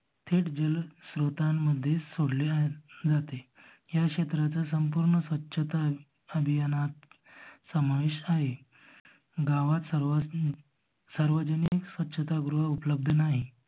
थेट जल श्रोतामध्ये सोडले जाते. ह्या क्षेत्राचा संपूर्ण स्वचता अभियानात समावेश आहे. गावात सर्वानी सार्वजनिक स्वच्छता गृह उपलब्ध नाही.